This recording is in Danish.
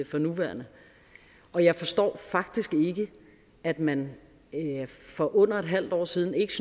for nuværende og jeg forstår faktisk ikke at man for under et halvt år siden ikke